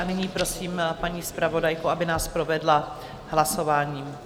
A nyní prosím paní zpravodajku, aby nás provedla hlasováním.